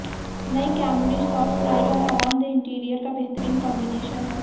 नई Camry soft ride और आरामदेह इंटीरियर का बेहतरीन कॉम्बिनेशन है